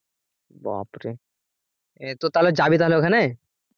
বাপরে তো তাহলে যাবি তাহলে ওখানে?